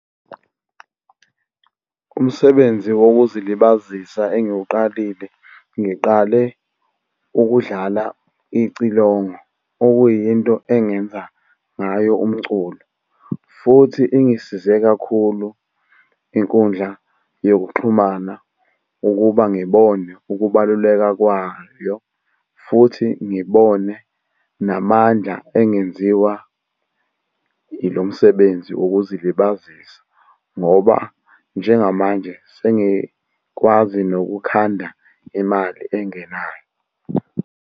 Umsebenzi wokuzilibazisa engiwuqalile, ngiqale ukudlala icilongo, okuyinto engenza ngayo umculo, futhi ingisize kakhulu inkundla yokuxhumana ukuba ngibone ukubaluleka kwayo, futhi ngibone namandla engenziwa ilo msebenzi wokuzilibazisa, ngoba njengamanje sengikwazi nokukhanda imali engenayo.